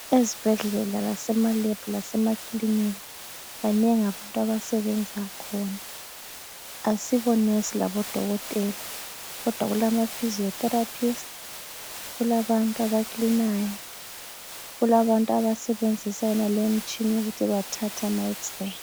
Ezibhedlela, lasema Lab lasemakilinika, banengi abantu abasebenza khona, asibo Nesi laboDokotela kodwa kulama Physio Therapists, kulabantu abakilinayo, kulabantu abasebenzisa yonaleyi imitshina ukuthi bathathe ama X- ray.